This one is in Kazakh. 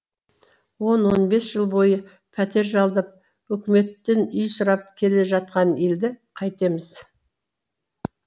он он бес жыл бойы пәтер жалдап үкіметтен үй сұрап келе жатқан елді қайтеміз